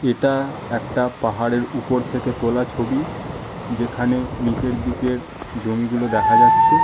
এটা একটা পাহাড়ের উপর থেকে তোলা ছবি যেখানে নিচের দিকের জমি গুলো দেখা যাচ্ছে--